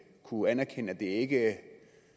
kunne anerkende at det ikke